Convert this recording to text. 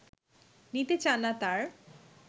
নিতে চাননা তার